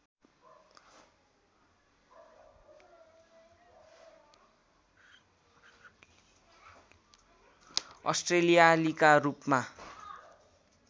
अस्ट्रेलियालीका रूपमा